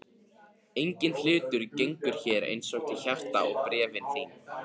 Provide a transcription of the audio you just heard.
Enginn hlutur gengur mér eins til hjarta og bréfin þín.